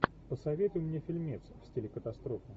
посоветуй мне фильмец в стиле катастрофа